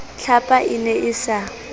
tlhapa e ne e sa